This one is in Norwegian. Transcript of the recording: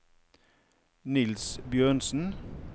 Niels Bjørnsen